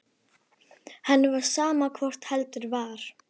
Henni var sama hvort heldur var.